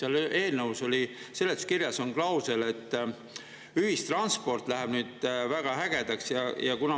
eelnõu seletuskirjas on klausel, et ühistransport läheb nüüd väga ägedaks.